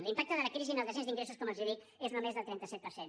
l’impacte de la crisi en el descens d’ingressos com els dic és només del trenta set per cent